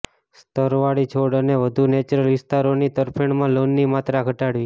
સ્તરવાળી છોડ અને વધુ નેચરલ વિસ્તારોની તરફેણમાં લોનની માત્રા ઘટાડવી